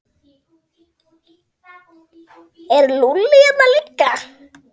Er Lúlli hérna líka?